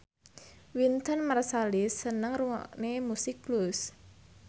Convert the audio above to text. Wynton Marsalis seneng ngrungokne musik blues